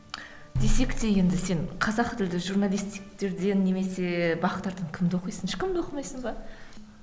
десек те енді сен қазақ тілді немесе бақ тардан кімді оқисың ешкімді оқымайсың ба